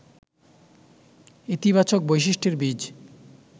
ইতিবাচক বৈশিষ্ট্যের বীজ